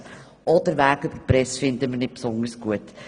Auch den Weg in die Presse finden wir nicht besonders gut.